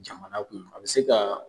Jamana kun. A be se ka